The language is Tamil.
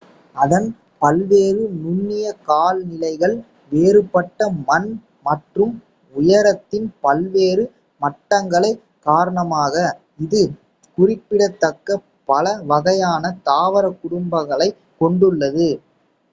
அதன் பல்வேறு நுண்ணிய காலநிலைகள் வேறுபட்ட மண் மற்றும் உயரத்தின் பல்வேறு மட்டங்கள் காரணமாக இது குறிப்பிடத்தக்க பல வகையான தாவரக் குடும்பங்களைக் கொண்டுள்ளது